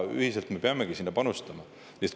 Ühiselt me peamegi sinna panustama.